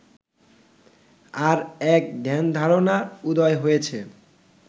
আর এক ধ্যানধারণার উদয় হয়েছে